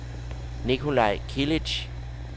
Nicolaj Kilic